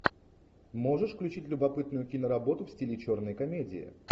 можешь включить любопытную киноработу в стиле черной комедии